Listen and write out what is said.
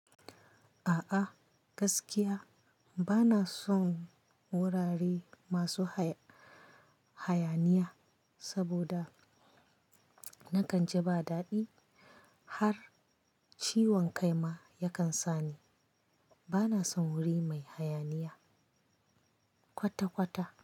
A'a gaskiya bana son wurare masu haya-hayaniya saboda na kan ji ba daɗi har ciwon kai ma yakan sani. Bana son wuri mai hayaniya kwata-kwata.